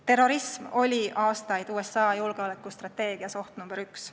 Terrorism oli aastaid USA julgeolekustrateegias oht nr 1.